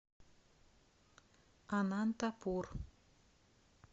анантапур